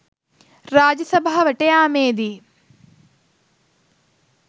රාජසභාවට යාමේදී